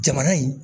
Jamana in